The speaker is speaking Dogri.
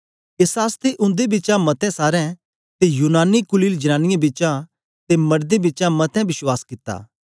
एस आसतै उन्दे बिचा मतें सारें ते यूनानी कुलीन जनांनीयें बिचा ते मड़दें बिचा मतें विश्वास कित्ता